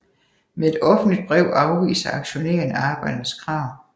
Med et offentligt brev afviser aktionærerne arbejdernes krav